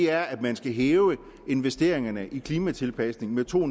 er at man skal hæve investeringerne i klimatilpasninger med to